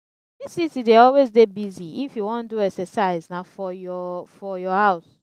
dis city dey always dey busy if you wan do exercise na for your for your house.